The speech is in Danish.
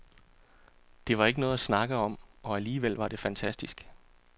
Det var ikke noget at snakke om, og alligevel var det fantastisk.